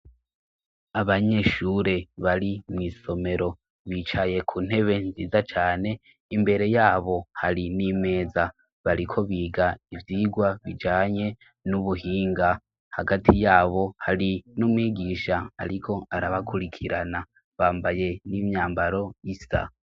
Abanyeshure bari mu isomero bicaye ku ntebe nziza cane imbere yabo hari n'imeza bariko biga ivyigwa bijanye n'ubuhinga hagati yabo hari n'umwigisha ariko arabakurikirana bambaye n'imyambaro isa.